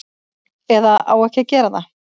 Eða á ekki að gera það.